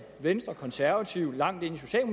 venstre og konservative og langt ind